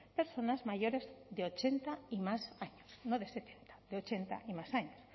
personas mayores de ochenta y más años no de setenta de ochenta y más años